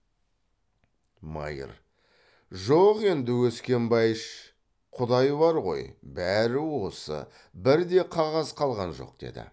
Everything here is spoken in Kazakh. майыр жоқ енді өскенбайыш құдай бар ғой бәрі осы бір де қағаз қалған жоқ деді